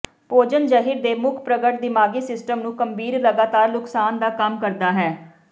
ਭੋਜਨ ਜ਼ਹਿਰ ਦੇ ਮੁੱਖ ਪ੍ਰਗਟ ਦਿਮਾਗੀ ਸਿਸਟਮ ਨੂੰ ਗੰਭੀਰ ਲਗਾਤਾਰ ਨੁਕਸਾਨ ਦਾ ਕੰਮ ਕਰਦਾ ਹੈ